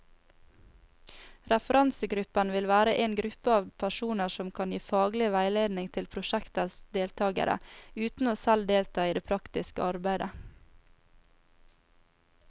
Referansegruppen vil være en gruppe av personer som kan gi faglig veiledning til prosjektets deltagere, uten selv å delta i det praktiske arbeidet.